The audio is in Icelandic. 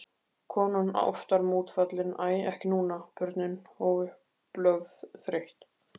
Konan oftar mótfallin, æ ekki núna, börnin, óupplögð, þreytt.